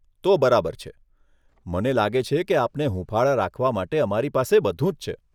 તો બરાબર છે. મને લાગે છે કે આપને હુંફાળા રાખવા માટે અમારી પાસે બધું જ છે.